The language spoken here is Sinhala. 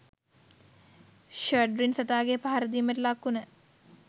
ශැඩ්රින් සතාගෙ පහරදීමට ලක්වුන